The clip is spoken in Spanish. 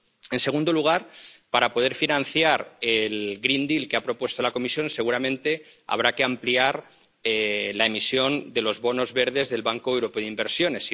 En segundo lugar, para poder financiar el Pacto Verde que ha propuesto la Comisión, seguramente habrá que ampliar la emisión de los bonos verdes del Banco Europeo de Inversiones.